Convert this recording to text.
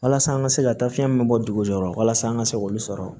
Walasa an ka se ka taa fiyɛn min bɔ dugu jɔyɔrɔ la walasa an ka se k'olu sɔrɔ